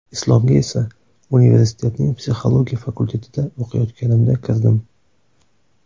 Islomga esa universitetning psixologiya fakultetida o‘qiyotganimda kirdim.